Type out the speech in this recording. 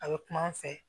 A bɛ kuma an fɛ